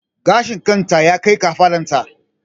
Gashin kan ta ya kai kafaɗan ta